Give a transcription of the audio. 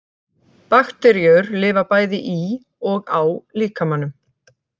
Bakteríur lifa bæði í og á líkamanum.